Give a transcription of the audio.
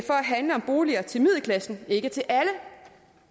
handler om boliger til middelklassen og ikke til at er